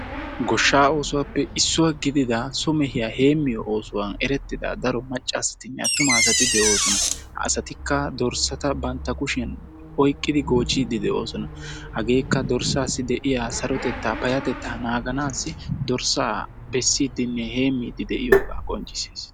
goshshaa oosuwaappe issuwaa gidiida so meehiyaa heemmiyoo oosuwaan erettidda daro macca asatinne attumma asati de'oosona. ha asattikka dorssata bantta kushshiyaan oyqqidi goochchiidi de'oosona. hageekka dorssaasi de'iyaa sarottettaa payyatettaa nagaanassi dorssaa bessidinne heemmidi de'iyoogaa qonccissees.